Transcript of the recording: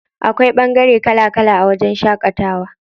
Akwai ɓangare kala kala a wajen shaƙatawa.